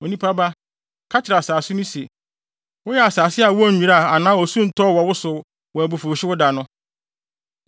“Onipa ba, ka kyerɛ asase no se, ‘Woyɛ asase a wonnwiraa anaa osu ntɔɔ wo so wɔ abufuwhyew da no.’